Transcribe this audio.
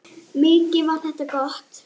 Mikið var það gott.